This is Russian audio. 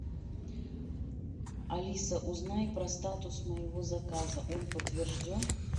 алиса узнай про статус моего заказа он подтвержден